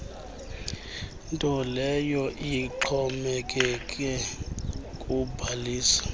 ntoleyo exhomekeke kubhaliso